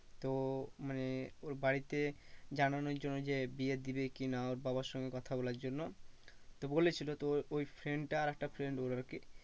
তো মানে ওর বাড়িতে জানানোর জন্য যে বিয়ে দেবে কি না ওর বাবার সঙ্গে কথা বলার জন্য তো বলেছিলো ওই ওই friend টা আর একটা friend ওর আরকি